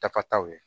Dakataw ye